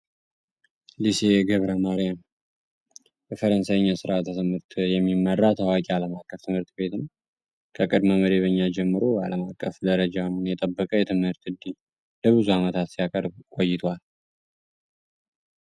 ሊሴ የግብረ ማሪያም በፈረንሳይኛ ሥር ተስምህርት የሚመራ ታዋቂ አለምአቀፍ ትምህርት ቤት ነው። ከቅድመ መደበኛ ጀምሮ አለምአቀፍ ደረጃ ምን የጠበቀ የትምህርት እንዲህ ለብዙ ዓመታት ሲያቀርብ ቆይቷል።